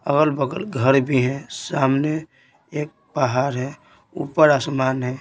अगल बगल घर भी हैं सामने एक पहाड़ है ऊपर आसमान है।